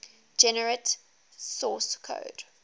generate source code